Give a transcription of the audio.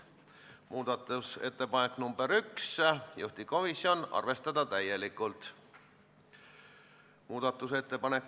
Muudatusettepanek nr 1 puudutab aga kõiki Eesti rongireisijaid, eriti puudega reisijaid.